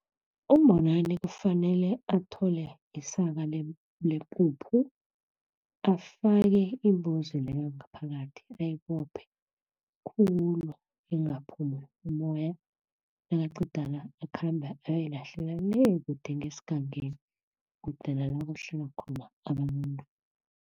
UMbonani kufanele athole isaka lepuphu afake imbuzi leyo ngaphakathi ayibophe khulu, ingaphumi umoya nakaqeda la, akhambe ayoyilahlela le, kude ngesgangeni kude nalakuhlala khona abantu